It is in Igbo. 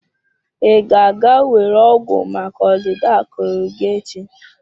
Ị ga-aga were ọgwụ maka ọdịda akụrụ gị echi?